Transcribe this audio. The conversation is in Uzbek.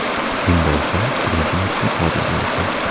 Bunday hol birinchi marta sodir bo‘lishi.